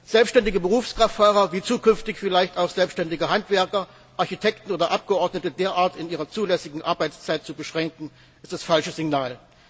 Selbständige Berufskraftfahrer wie zukünftig vielleicht auch selbständige Handwerker, Architekten oder Abgeordnete derart in ihrer zulässigen Arbeitszeit zu beschränken, ist das falsche Signal.